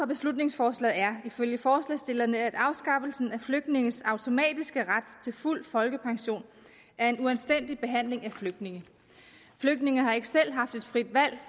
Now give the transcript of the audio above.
beslutningsforslaget er ifølge forslagsstillerne at afskaffelsen af flygtninges automatiske ret til fuld folkepension er en uanstændig behandling af flygtninge flygtninge har ikke selv haft et frit valg